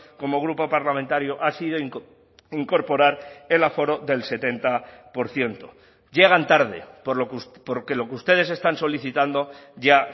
como grupo parlamentario ha sido incorporar el aforo del setenta por ciento llegan tarde porque lo que ustedes están solicitando ya